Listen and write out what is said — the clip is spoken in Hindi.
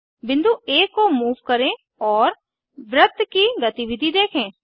बिंदु आ को मूव करें और वृत्त की गतिविधि देखें